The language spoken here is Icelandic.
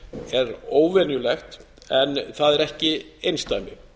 er óvenjulegt en það er ekki einsdæmi